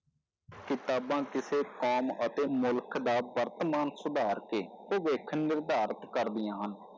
ਕਿਤਾਬਾਂ ਕਿਸੇ ਕੌਮ ਅਤੇ ਮੁਲਕ ਦਾ ਵਰਤਮਾਨ ਸੁਧਾਰ ਕੇ ਭਵਿਖ ਨਿਰਧਾਰਤ ਕਰਦੀਆਂ ਹਨ।